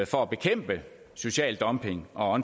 for at bekæmpe social dumping og